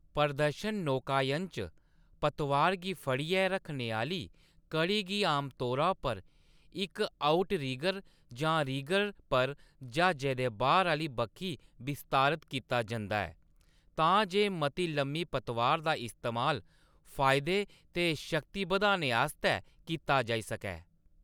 प्रदर्शन नौकायन च, पतवार गी फड़ियै रक्खने आह्‌‌‌ली कड़ी गी आमतौरा पर इक आउटरिगर जां रिगर पर ज्हाजै दे बाह्‌‌र आह्‌‌‌‌‌‌ली बक्खी विस्तारत कीता जंदा ऐ तां जे मती लम्मी पतवार दा इस्तेमाल फायदे ते शक्ति बधाने आस्तै कीता जाई सकै।